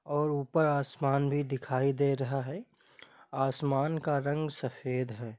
और उपर आसमानभी दिखाई दे रहा है आसमान का रंग सफेद है।